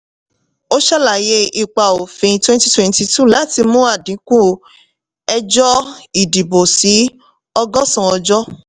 ó ṣàlàyé ipa òfin twenty twenty two láti mú àdínkù ẹjọ́ ìdìbò sí ọgọ́san ọjọ́.